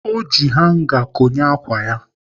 Ọ ji hanga konye ákwà ya.